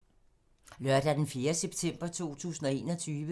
Lørdag d. 4. september 2021